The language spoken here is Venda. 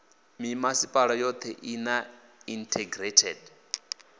mimasipala yothe i na integrated